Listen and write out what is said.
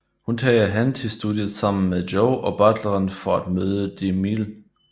Hun tager hen til studiet sammen med Joe og butleren for at møde DeMille